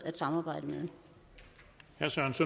at samarbejde